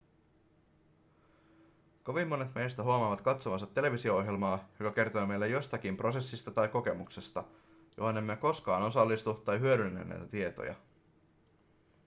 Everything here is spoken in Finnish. kovin monet meistä huomaavat katsovansa televisio-ohjelmaa joka kertoo meille jostakin prosessista tai kokemuksesta johon emme koskaan osallistu tai hyödynnä näitä tietoja